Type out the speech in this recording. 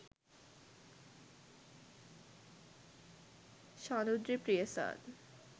shanudri priyasad